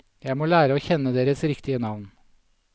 Jeg må lære å kjenne deres riktige navn.